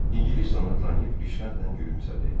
İngilis də onu tanıyıb rişxəndlə gülümsədi.